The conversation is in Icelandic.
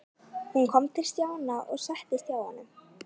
Hún kom til Stjána og settist hjá honum.